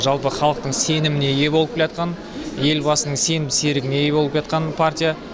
жалпы халықтың сеніміне ие болып келатқан елбасының сенімді серігіне ие болып келатқан партия